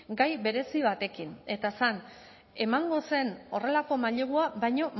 gai berezi batekin eta zen emango zen horrelako mailegua baino